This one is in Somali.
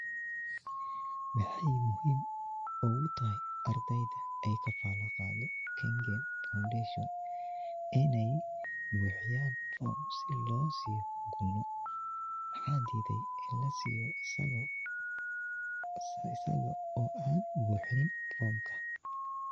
Maxee muhiim ogu tahay ardeyda ee ka fala qado kengen foundation in ee buxiyan form si lo siyo maxaa dithay in lasiyo isago buxini formkas.